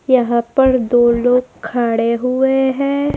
यहां पर दो लोग खड़े हुए है।